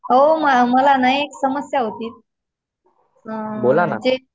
ओ मला ना एक समस्या होती. अ म्हणजे